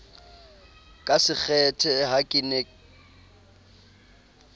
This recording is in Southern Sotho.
ka sekgethe ha ke ne